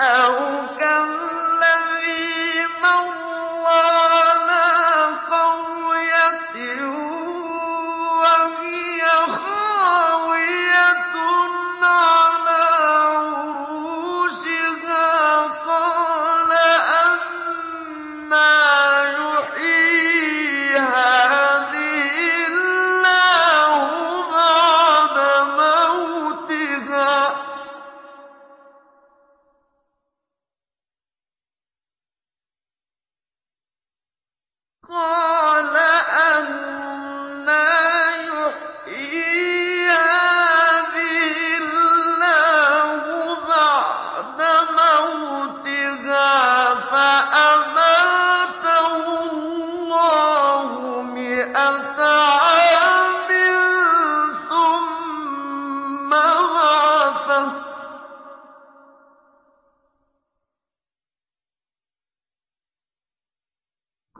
أَوْ كَالَّذِي مَرَّ عَلَىٰ قَرْيَةٍ وَهِيَ خَاوِيَةٌ عَلَىٰ عُرُوشِهَا قَالَ أَنَّىٰ يُحْيِي هَٰذِهِ اللَّهُ بَعْدَ مَوْتِهَا ۖ فَأَمَاتَهُ اللَّهُ مِائَةَ عَامٍ ثُمَّ بَعَثَهُ ۖ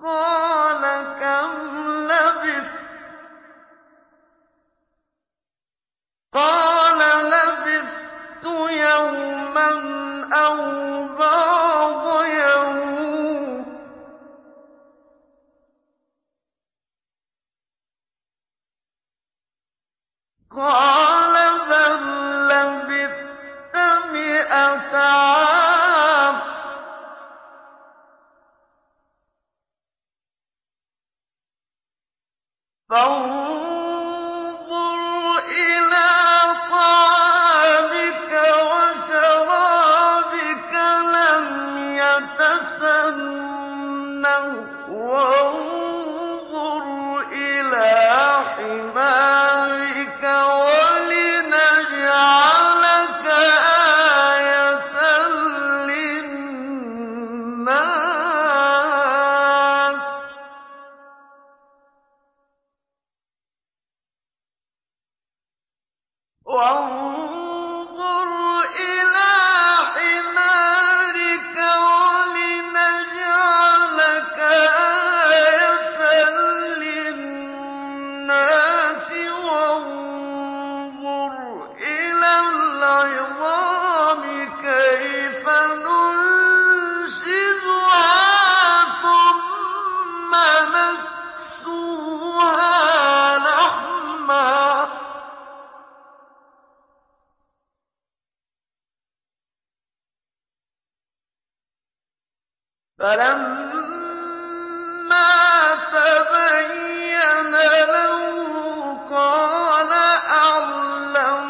قَالَ كَمْ لَبِثْتَ ۖ قَالَ لَبِثْتُ يَوْمًا أَوْ بَعْضَ يَوْمٍ ۖ قَالَ بَل لَّبِثْتَ مِائَةَ عَامٍ فَانظُرْ إِلَىٰ طَعَامِكَ وَشَرَابِكَ لَمْ يَتَسَنَّهْ ۖ وَانظُرْ إِلَىٰ حِمَارِكَ وَلِنَجْعَلَكَ آيَةً لِّلنَّاسِ ۖ وَانظُرْ إِلَى الْعِظَامِ كَيْفَ نُنشِزُهَا ثُمَّ نَكْسُوهَا لَحْمًا ۚ فَلَمَّا تَبَيَّنَ لَهُ قَالَ أَعْلَمُ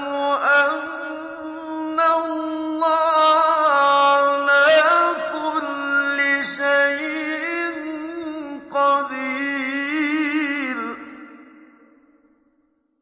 أَنَّ اللَّهَ عَلَىٰ كُلِّ شَيْءٍ قَدِيرٌ